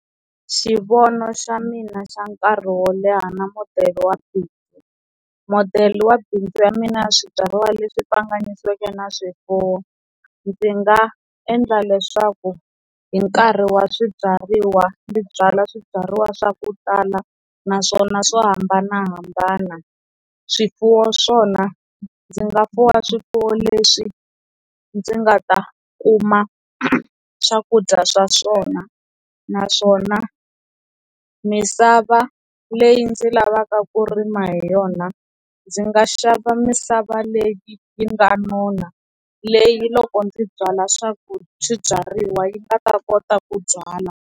Xivono xa mina xa nkarhi wo leha na modele wa bindzu, modele wa bindzu ya mina ya swibyariwa leswi hlanganisiweke na swifuwo ndzi nga endla leswaku hi nkarhi wa swibyariwa ndzi byala swibyariwa swa ku tala naswona swo hambanahambana swifuwo swona ndzi nga fuwela swifuwo leswi ndzi nga ta kuma swakudya swa swona naswona misava leyi ndzi lavaka ku rima hi yona ndzi nga xava misava leyi yi nga nona leyi loko ndzi byala swa ku swibyariwa yi nga ta kota ku byala.